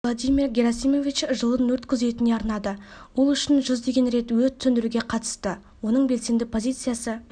владимир герасимович жылын өрт күзетіне арнады ол үшін жүздеген рет өрт сөндіруге қатысты оның белсенді позициясы